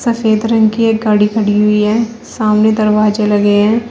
सफ़ेद रंग की एक गाड़ी खड़ी हुई है सामने दरवाजे लगे हैं।